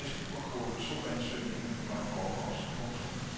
Fristen for kvote to ansøgningerne var i forgårs. punktum